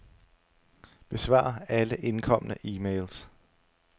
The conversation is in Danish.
Besvar alle indkomne e-mails.